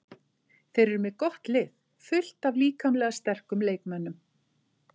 Þeir eru með gott lið, fullt af líkamlega sterkum leikmönnum.